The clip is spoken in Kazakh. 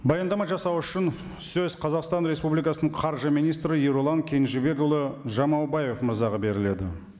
баяндама жасау үшін сөз қазақстан республикасының қаржы министрі ерұлан кенжебекұлы жамаубаев мырзаға беріледі